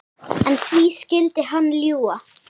En því skyldi hann ljúga?